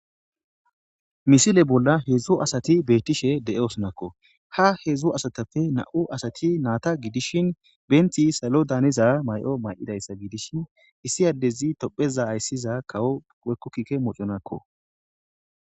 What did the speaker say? Misile bolla heedzdzu asati beettishe de'e osonakko ha heedzdzu asatapfe na'u asati naata gidishin benti salo daaniza mayo may'idayssa gidishi issi addezi topheza ayssiza kawo wekkokkikke moconakko